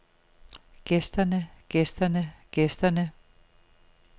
gæsterne gæsterne gæsterne